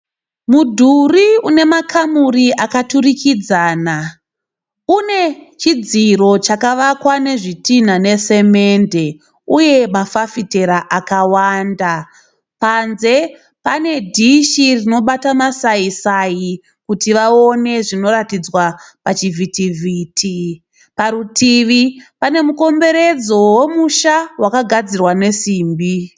Mudhuri unemakamuri akaturikidzana une chidziro chakawakwa nezvitinha nesemende uye mafafitera akawanda panze panedhishi rinobata masai Sai kuti vaone zvinoratidzwa pachivhiti vhiti parutivi pane mukomberedzo vemusha vakagadzira nesimbi